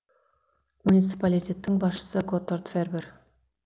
муниципалитеттің басшысы готтард фербер